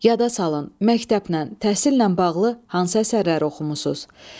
Yada salın məktəblə, təhsillə bağlı hansı əsərləri oxumusunuz?